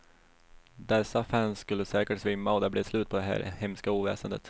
Dessa fans skulle säkert svimma och det blev slut på det här hemska oväsendet.